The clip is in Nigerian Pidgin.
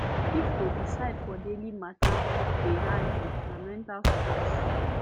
if to decide for daily matter dey hard you na mental stress